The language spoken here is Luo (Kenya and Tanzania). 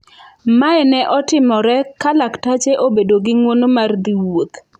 Mae ne otimore ka laktache obedo gi ngwono mar dhi wuoth.